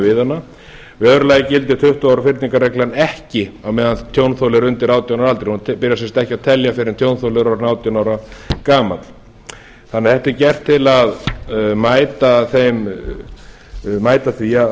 við hana í öðru lagi gildir tuttugu ára fyrningarreglan ekki meðan tjónþoli er undir átján ára aldri hún byrjar sem sagt ekki að telja fyrr en tjónþoli er orðinn átján ára gamall þannig að þetta er gert til að mæta því